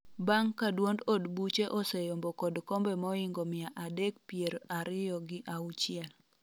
bang' ka duond od buche oseyombo kod kombe moingo mia adek pier ariyo gi auchiel